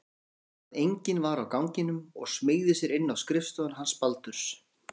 Hann sá að enginn var á ganginum og smeygði sér inn á skrifstofuna hans Baldurs.